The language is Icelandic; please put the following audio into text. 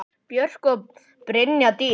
Björk og Brynja Dís.